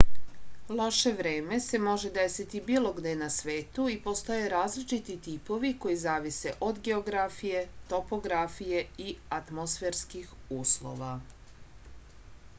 loše vreme se može desiti bilo gde na svetu i postoje različiti tipovi koji zavise od geografije topografije i atmosferskih uslova